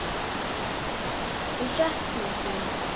Við söknum þín.